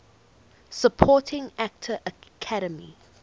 supporting actor academy